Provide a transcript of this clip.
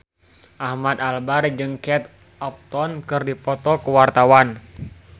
Ahmad Albar jeung Kate Upton keur dipoto ku wartawan